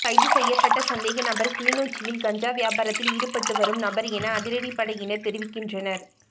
கைதுசெய்யப்பட்ட சந்தேகநபர் கிளிநொச்சியில் கஞ்சா வியாபாரத்தில் ஈடுபட்டுபட்டுவரும் நபர் என அதிரடிப்படையினர் தெரிவிக்கின்றனர்